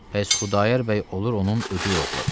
Pəs Xudayar bəy olur onun ögeyi oğlu.